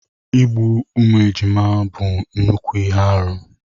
Igbu ụmụ ejima bụ nnukwu ihe arụ.